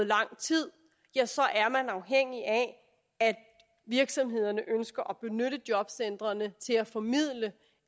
lang tid ja så er man afhængig af at virksomhederne ønsker at benytte jobcentrene til at formidle